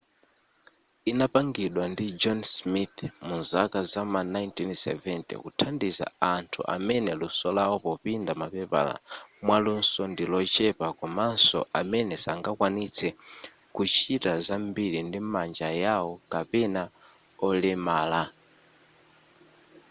inapangidwa ndi john smith muzaka zam'ma 1970 kuthandiza anthu amene luso lawo popinda mapepala mwaluso ndilochepa komanso amene sangakwanitse kuchita zambili ndi manja yao kapena olemala